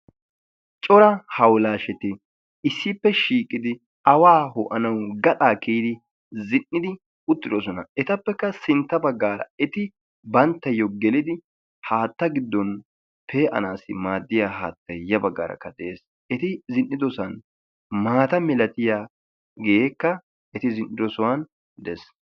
coraa hawullashoti issippe shiiqidi awaa ho''anawgaxaa kiyyidi zin''idi uttidoosona. etuppekka sintta baggaara banttayo gelidi haatta giddon pe''anassi maadiya haattay ya baggaarakka de'ees. eti zin''idoosona maata malatiyaageeka eti zin''idoosona dees.